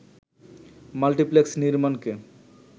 multiplex নির্মাণকে